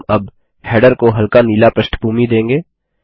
हम अब हेडर को हल्का नीला प्रष्ठभूमि देंगे